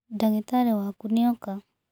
Ndagitarĩ waku nĩ oka.